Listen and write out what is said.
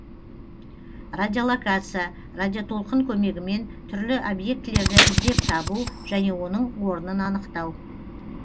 радиолокация радиотолқын көмегімен түрлі объектілерді іздеп табу және оның орнын анықтау